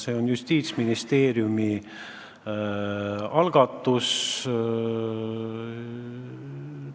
See on Justiitsministeeriumi algatus.